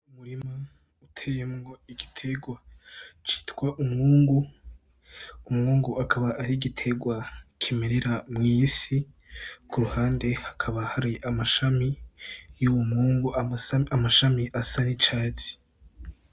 Umurima uteyemwo igitegwa citwa umwungu, umwungu akaba ari igitegwa kimerera mw'isi, ku ruhande hakaba hari amashami y'uwo mwungu, amashami asa n'icatsi.